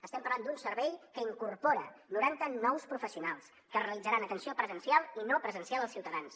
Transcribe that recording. estem parlant d’un servei que incorpora noranta nous professionals que realitzaran atenció presencial i no presencial als ciutadans